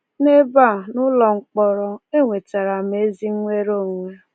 N'ebe a, n'ụlọ mkpọrọ, e nwetara m ezi nnwere onwe!